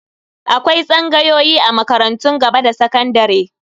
Akwai tsangayoyi a makarantun gaba da sakandare.